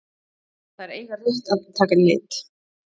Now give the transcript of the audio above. Þær eiga rétt að taka lit.